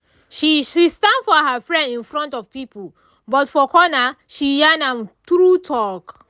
she she stand for her friend in front of people but for corner she yarn am true talk.